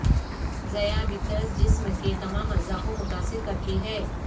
ذیابیطس جسم کے تمام اعضاء کو متاثر کرتی ہے